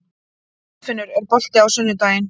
Kolfinnur, er bolti á sunnudaginn?